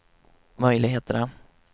möjligheterna